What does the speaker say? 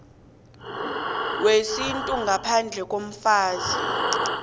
wesintu ngaphandle komfazi